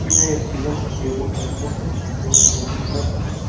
यह एस_सी_एम का Sherwood campus है जो कि गोल्डन कलर का है।